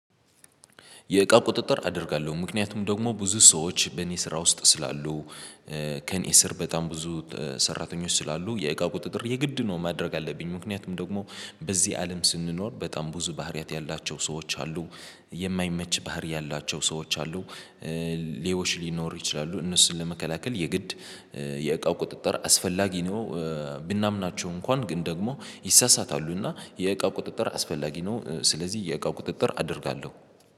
የእቃ ቁጥጥር አደርጋለሁ ምክንያቱም ደግሞ ብዙ ሰዎች በእኔ ስራ ውስጥ ስላሉ። ከእኔ ስር በጣም ብዙ ሰራተኞች ስላሉ የእቃ ቁጥጥር የግድ ነው። ማድረግ ያለብኝ ምክንያቱም ደግሞ በዚህ አለም ስንኖር በጣም ብዙ ባህሪያት ያላቸው ሰዎች አሉ። የማይመች ባህሪ ያላቸው ሰዎች አሉ። ሌቦች ሊኖሩ ይችላሉ እነሱን ለመከላከል የግድ የእቃው ቁጥጥር አስፈላጊ ነው። ብናምናቸው እንኳን ግን ደግሞ ይሳሳታሉና የእቃ ቁጥጥር አስፈላጊ ነው። ስለዚህ የእቃ ቁጥጥር አደርጋለሁ